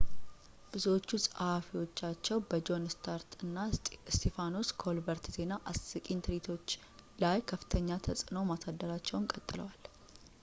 ብዙዎቹ ጸሐፊዎቻቸው በጆን እስታርት እና እስጢፋኖስ ኮልበርት ዜና አስቂኝ ትርኢቶች ላይ ከፍተኛ ተጽዕኖ ማሳደራቸውን ቀጥለዋል